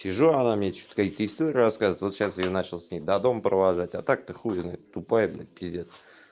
сижу она мне что-то какие-то истории рассказывает вот сейчас её я начал с ней до дома провожать а так-то хули тупая блядь пиздец